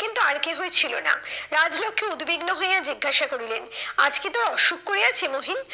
কিন্তু আর কেহই ছিল না। রাজলক্ষ্মী উদ্বিগ্ন হইয়া জিজ্ঞাসা করিলেন আজ কি তোর অসুখ করিয়াছে মহিন?